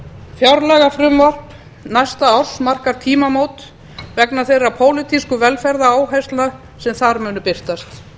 fjárlagafrumvarp næsta árs markar tímamót vegna þeirra pólitísku velferðaráherslna sem þar munu birtast